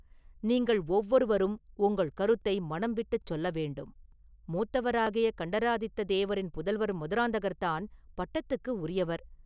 நீங்கள் ஒவ்வொருவரும் உங்கள் கருத்தை மனம் விட்டுச் சொல்ல வேண்டும்…” “மூத்தவராகிய கண்டராதித்ததேவரின் புதல்வர் மதுராந்தகர் தான் பட்டத்துக்கு உரியவர்.